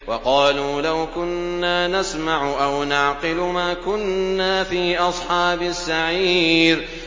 وَقَالُوا لَوْ كُنَّا نَسْمَعُ أَوْ نَعْقِلُ مَا كُنَّا فِي أَصْحَابِ السَّعِيرِ